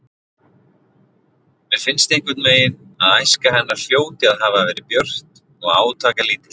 Mér finnst einhvernveginn að æska hennar hljóti að hafa verið björt og átakalítil.